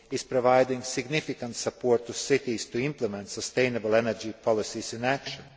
provides significant support to cities to implement sustainable energy policies and actions.